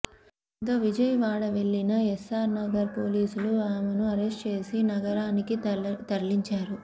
దీంతో విజయవాడ వెళ్లిన ఎస్సార్ నగర్ పోలీసులు అమెను అరెస్ట్ చేసి నగరానికి తరలించారు